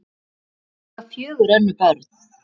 Þau eiga fjögur önnur börn.